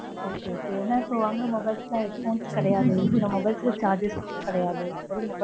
okay okay ஏன்னா, இப்ப வாங்க, mobile headphone கிடையாது. சில mobiles க்கு, charges கிடையாது. வெறும் mobile மட்டும்தான்